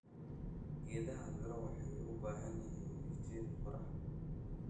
Geedaha miro waxay u baahan yihiin iftiin qorrax.